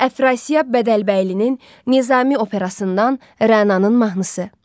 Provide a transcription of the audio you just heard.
Əfrasiyab Bədəlbəylinin Nizami operasından Rənanın mahnısı.